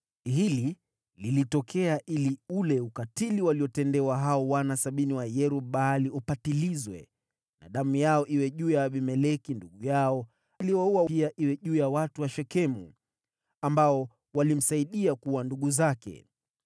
Hili lilitokea ili ule ukatili waliotendewa hao wana sabini wa Yerub-Baali upatilizwe, na damu yao iwe juu ya Abimeleki ndugu yao aliyewaua, na pia iwe juu ya watu wa Shekemu, ambao walimsaidia kuua ndugu zake.